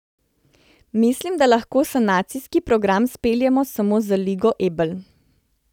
Mislim, da lahko sanacijski program speljemo samo z Ligo Ebel.